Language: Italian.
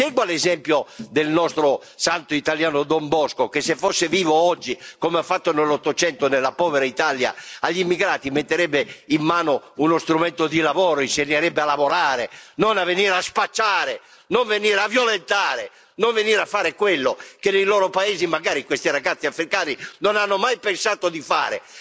Segua l'esempio del santo italiano, Don Bosco, che se fosse vivo oggi, come ha fatto nell'Ottocento, nella povera Italia agli immigrati metterebbe in mano uno strumento di lavoro, insegnerebbe a lavorare, non a venire a spacciare, a violentare, a fare quello che nei loro paesi, magari, questi ragazzi africani non hanno mai pensato di fare.